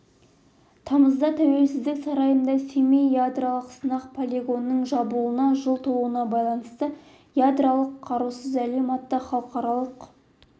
тамызда тәуелсіздік сарайында семей ядролық сынақ полигонының жабылуына жыл толуына байланысты ядролық қарусыз әлем атты халықаралық